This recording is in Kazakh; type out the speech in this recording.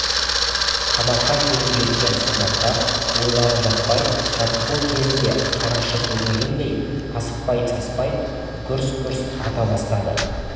қабаққа келіп жеткен солдаттар ойланып жатпай жаттығу кезінде қарақшы көздегендей асықпай-саспай гүрс-гүрс ата бастады